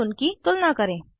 और उनकी तुलना करें